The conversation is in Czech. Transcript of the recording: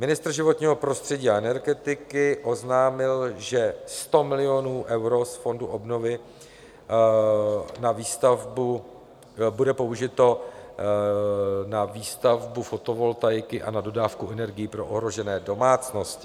Ministr životního prostředí a energetiky oznámil, že 100 milionů eur z fondu obnovy na výstavbu bude použito na výstavbu fotovoltaiky a na dodávku energií pro ohrožené domácnosti.